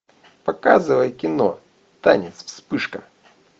показывай кино танец вспышка